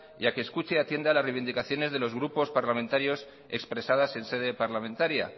y a que escuche y atienda las reivindicaciones de los grupos parlamentarios expresadas en sede parlamentaria